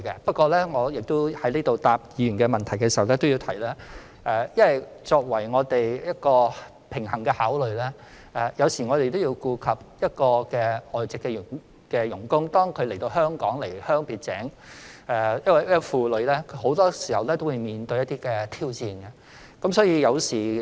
不過，我在回答議員問題時亦要提出，我們要作平衡的考慮，同時要顧及外傭離鄉別井來到香港，這個重擔很多時也會令他們面對一些挑戰。